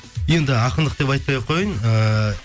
енді ақындық деп айтпай ақ қояйын ыыы